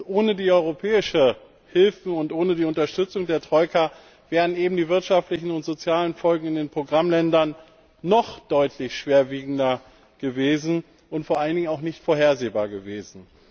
Ohne die europäischen Hilfen und ohne die Unterstützung der Troika wären die wirtschaftlichen und sozialen Folgen in den Programmländern noch deutlich schwerwiegender, und vor allen Dingen auch nicht vorhersehbar gewesen.